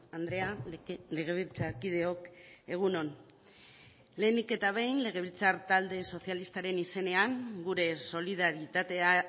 andrea legebiltzarkideok egun on lehenik eta behin legebiltzar talde sozialistaren izenean gure solidaritatea